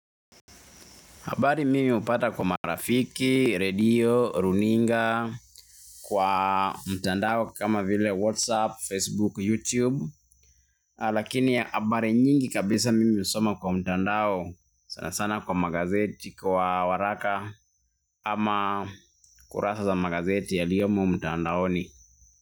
Habari mimi hupata kwa marafiki, radio, runinga, kwa mtandao kama vile whatsapp, facebook, youtube. Lakini habari nyingi kabisa mimi husoma kwa mtandao sana sana kwa magazeti kwa waraka ama kurasa za magazeti yaliyomo mtandaoni.